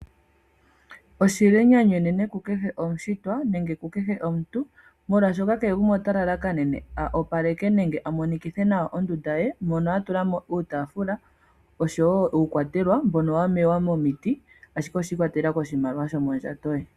Oshi li enyanyu enene ku kehe omushitwa molwaashoka kehe gumwe ota lalakanene a opaleke ondunda ye mono atula mo oosikopa oshowo uukwatelwa mbono wamewa momiti shi ikwatelela koshimaliwa shomondjato ye.